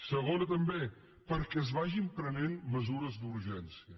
segona també perquè es vagin prenent mesures d’urgència